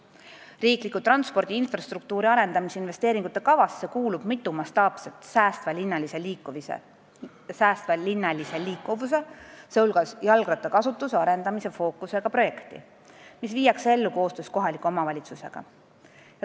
Riiklikusse transpordi infrastruktuuri arendamise investeeringute kavasse kuulub mitu mastaapset säästva linnalise liikuvuse projekti, mille fookuses on ka jalgrattakasutuse arendamine ja mis viiakse ellu koostöös kohaliku omavalitsusega.